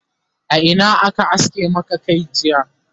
a Ina aka aske Maka Kai jiya?